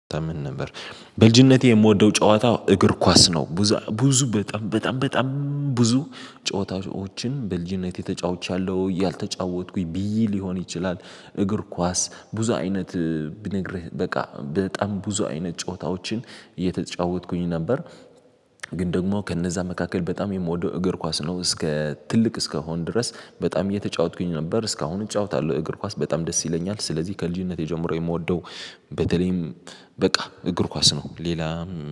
ተምን ነበር በልጂነቴ የምወደው ጨዋታ እግር ኳስ ነው። ብዙ በጣም በጣም በጣም ብዙ ጨዋታዎችን በልጂነቴ ተጫውቻለሁ ያልተጫወትኩኝ ብይ ሊሆን ይችላል እግር ኳስ ብዙ አይነት ብነግርህ በቃ በጣም ብዙ አይነት ጨዋታዎችን እየተጫወትኩኝ ነበር። ግን ደግሞ ከእነዛ መካከል በጣም የምወደው እግር ኳስ ነው እስከ ትልቅ እስከሆን ድረስ በጣም እየተጫወትኩኝ ነበር እስካሁን እጫወታለሁ እግር ኳስ በጣም ደስ ይለኛል። ስለዚህ ከልጅነቴ ጀምሮ የምወደው በተለይም በቃ እግር ኳስ ነው። ሌላ